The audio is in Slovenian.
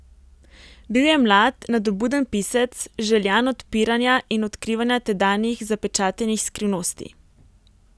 Bil je mlad, nadobuden pisec, željan odpiranja in odkrivanja tedanjih zapečatenih skrivnosti.